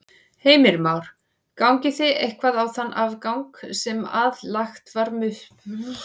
Heimir Már: Gangið þið eitthvað á þann afgang sem að lagt var upp með?